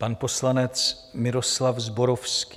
Pan poslanec Miroslav Zborovský.